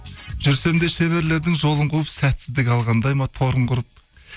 жүрсем де шеберлердің жолын қуып сәтсіздік алғандай ма торын құрып